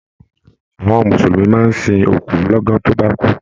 Àwọn mùsùlùmí máa n sìn òkú l'ọ̀gan to ba kú.